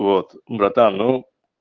вот братан ну